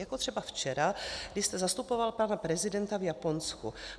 Jako třeba včera, kdy jste zastupoval pana prezidenta v Japonsku.